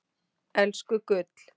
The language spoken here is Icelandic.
Elsku gull.